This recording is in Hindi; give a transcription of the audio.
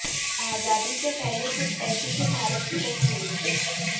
आजादी से पहले कुछ ऐसी थी भारत की तस्वीर